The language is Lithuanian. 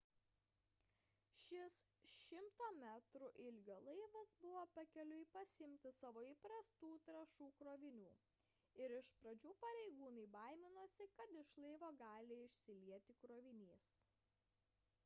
šis 100 metrų ilgio laivas buvo pakeliui pasiimti savo įprastų trąšų krovinių ir iš pradžių pareigūnai baiminosi kad iš laivo gali išsilieti krovinys